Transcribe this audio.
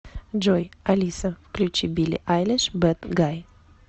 джой алиса включи билли айлиш бэд гай